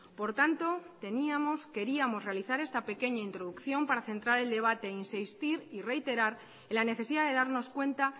por tanto teníamos queríamos realizar esta pequeña introducción para centrar el debate e insistir y reiterar la necesidad de darnos cuenta